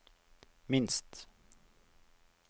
minst